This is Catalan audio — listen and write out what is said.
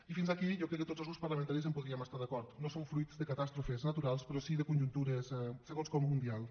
i fins aquí jo crec que tots els grups parlamentaris hi podríem estar d’acord no són fruit de catàstrofes naturals però sí de conjuntures segons com mundials